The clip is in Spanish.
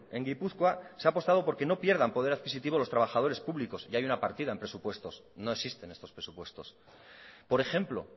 en gipuzkoa se ha apostado porque no pierdan poder adquisitivo los trabajadores públicos y hay una partida en presupuestos no existe en estos presupuestos por ejemplo